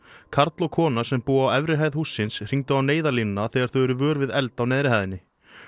karl og kona sem búa á efri hæð hússins hringdu í Neyðarlínuna þegar þau urðu vör við eld á neðri hæðinni